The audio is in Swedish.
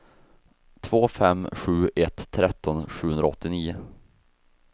två fem sju ett tretton sjuhundraåttionio